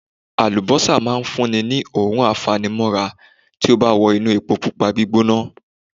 Àlùbọ́sà máa ń fún ni ní òórùn a fa ni mọ́ra tí ó bá ti wọ inú epo Pupa gbígbóná.